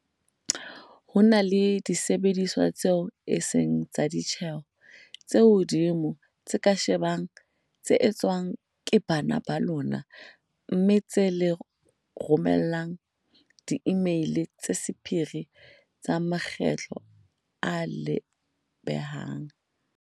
"Ho na le disebediswa tseo e seng tsa ditjeho tse hodimo tse ka shebang tse etswang ke bana ba lona mme tsa le romella diimeili tsa sephiri ka makgetlo ao le a behang."